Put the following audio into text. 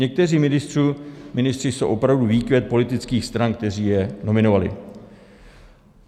Někteří ministři jsou opravdu výkvět politických stran, které je nominovaly.